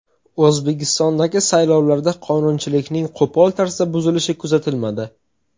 O‘zbekistondagi saylovlarda qonunchilikning qo‘pol tarzda buzilishi kuzatilmadi.